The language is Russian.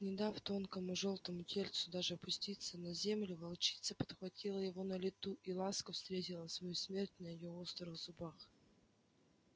не дав тонкому жёлтому тельцу даже опуститься на землю волчица подхватила его на лету и ласка встретила свою смерть на её острых зубах